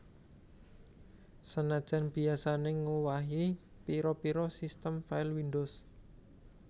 Senajan biyasané ngowahi pira pira sistem file windows